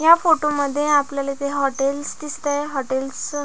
या फोटो मध्ये आपल्याला येथे हाॅटेलस दिलतय हाॅटेलस अ --